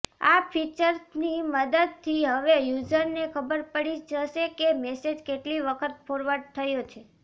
આ ફીચરની મદદથી હવે યુઝરને ખબર પડી જશે કે મેસેજ કેટલી વખત ફોરવર્ડ થયો છે